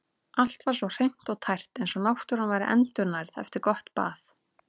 Allt var svo hreint og tært eins og náttúran væri endurnærð eftir gott bað.